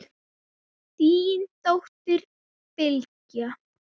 Þín dóttir, Bylgja.